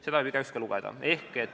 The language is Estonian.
Seda võib igaüks lugeda.